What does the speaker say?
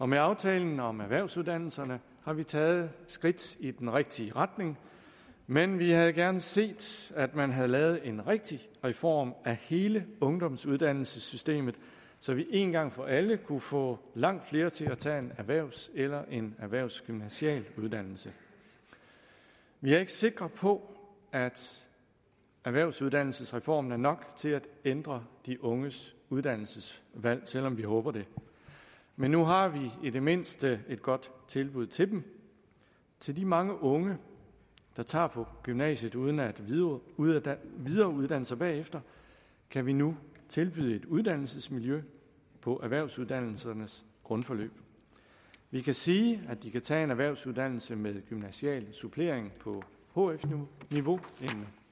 med aftalen om erhvervsuddannelserne har vi taget skridt i den rigtige retning men vi havde gerne set at man havde lavet en rigtig reform af hele ungdomsuddannelsessystemet så vi en gang for alle kunne få langt flere til at tage en erhvervs eller en erhvervsgymnasial uddannelse vi er ikke sikre på at erhvervsuddannelsesreformen er nok til at ændre de unges uddannelsesvalg selv om vi håber det men nu har vi i det mindste et godt tilbud til dem til de mange unge der tager på gymnasiet uden at videreuddanne videreuddanne sig bagefter kan vi nu tilbyde et uddannelsesmiljø på erhvervsuddannelsernes grundforløb vi kan sige at de kan tage en erhvervsuddannelse med gymnasial supplering på hf niveau en